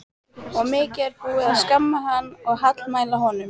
Og mikið er búið að skamma hann og hallmæla honum.